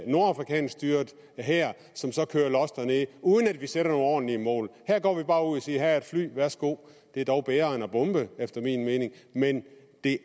nordafrikansk styret hær som kører los dernede uden at vi sætter nogle ordentlige mål her går vi bare ud og siger her er et fly værsgo det er dog bedre end at bombe efter min mening men det